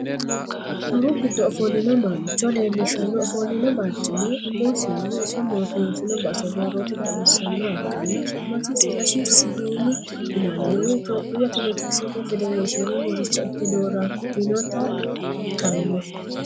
Haru gido offolino mancho leelliishano ofoolino baricima, umosinni iso mootonisinonni base borrotte xawinsonniha ikkanna, sumasi silesh sihin yinannihu tophiyuhu attiletikisete federeshinera muricha ikke doorraminotta ku'litanno